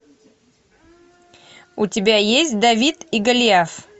у тебя есть давид и голиаф